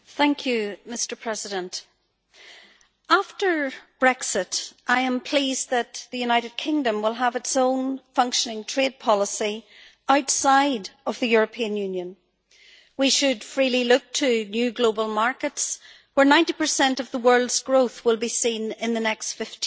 Mr President, after Brexit I am pleased that the United Kingdom will have its own functioning trade policy outside of the European Union. We should freely look to new global markets where 90 of the world's growth will be seen in the next 15 years.